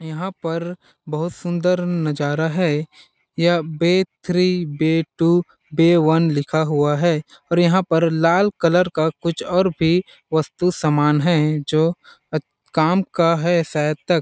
यहाँ पर बहुत सुंदर नज़ारा है यह bay three bay two bay one लिखा हुआ है और यहाँ पर लाल कलर का कुछ और भी वस्तु समान है जो काम का है शायद तक--